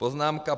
Poznámka